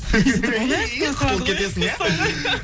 құтылып кетесің иә